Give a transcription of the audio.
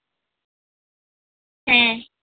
हम्म.